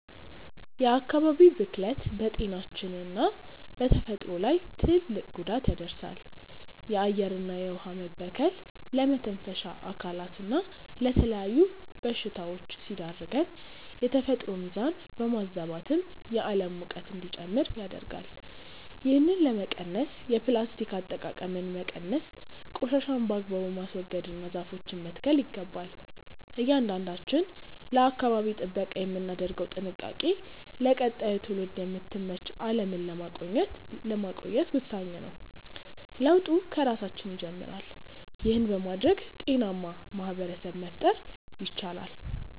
የአካባቢ ብክለት በጤናችንና በተፈጥሮ ላይ ትልቅ ጉዳት ያደርሳል። የአየርና የውኃ መበከል ለመተንፈሻ አካላትና ለተለያዩ በሽታዎች ሲዳርገን፣ የተፈጥሮን ሚዛን በማዛባትም የዓለም ሙቀት እንዲጨምር ያደርጋል። ይህንን ለመቀነስ የፕላስቲክ አጠቃቀምን መቀነስ፣ ቆሻሻን በአግባቡ ማስወገድና ዛፎችን መትከል ይገባል። እያንዳንዳችን ለአካባቢ ጥበቃ የምናደርገው ጥንቃቄ ለቀጣዩ ትውልድ የምትመች ዓለምን ለማቆየት ወሳኝ ነው። ለውጡ ከራሳችን ይጀምራል። ይህን በማድረግ ጤናማ ማኅበረሰብ መፍጠር ይቻላል።